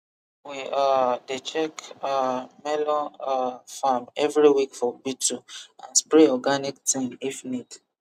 we um dey check um melon um farm every week for beetle and spray organic thing if need